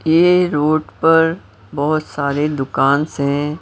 ये रोड पर बहुत सारे दुकान से हैं।